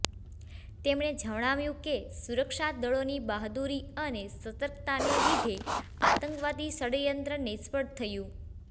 તેમણે જણાવ્યું કે સુરક્ષા દળોની બહાદુરી અને સતકર્તાને લીધે આતંકવાદી ષડયંત્ર નિષ્ફળ થયું